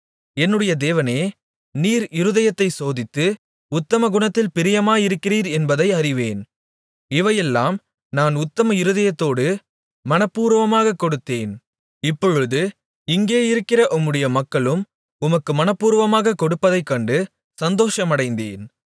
என்னுடைய தேவனே நீர் இருதயத்தைச் சோதித்து உத்தம குணத்தில் பிரியமாயிருக்கிறீர் என்பதை அறிவேன் இவையெல்லாம் நான் உத்தம இருதயத்தோடு மனப்பூர்வமாகக் கொடுத்தேன் இப்பொழுது இங்கேயிருக்கிற உம்முடைய மக்களும் உமக்கு மனப்பூர்வமாகக் கொடுப்பதைக் கண்டு சந்தோஷமடைந்தேன்